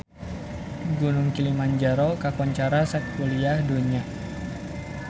Gunung Kilimanjaro kakoncara sakuliah dunya